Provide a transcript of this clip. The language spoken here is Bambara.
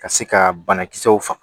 Ka se ka banakisɛw faga